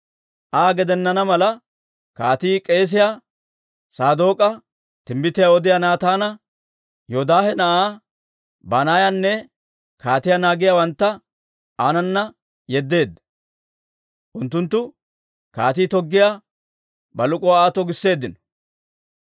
Aa gedenana mala kaatii k'eesiyaa Saadook'a, timbbitiyaa odiyaa Naataana, Yoodaahe na'aa Banaayanne kaatiyaa naagiyaawantta aanana yeddeedda; unttunttu kaatii toggiyaa bak'uluwaa Aa togisseeddino.